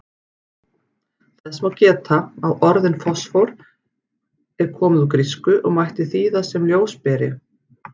Þess má geta að orðið fosfór er komið úr grísku og mætti þýða sem ljósberi.